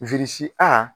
a